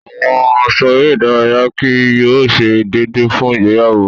Awọn aṣọ ere idaraya kii yóò ṣe deede fun igbeyawo